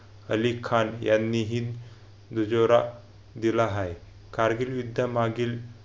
अली खान यांनीही डीजे रा कारगिल विद्या मागेल मागील अली खान यांनीही